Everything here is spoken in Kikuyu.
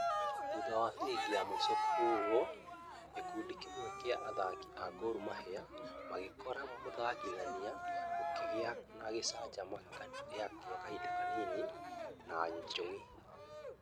Thutha wa fĩrĩbĩ ya mũisho kũhorwo, gĩkundi gia amwe a athaki a gor mahia magĩkora mũthakithia kũkĩgia ngũcanio ya kahĩnda kanini na njongi.